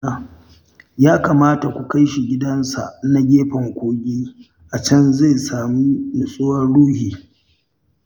Ya kamata ku kai shi gidansa na gefen kogi, a can zai samu nutsuwar ruhi